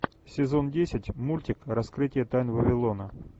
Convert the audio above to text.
сезон десять мультик раскрытие тайн вавилона